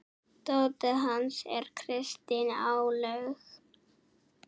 Dóttir hans er Kristín Áslaug.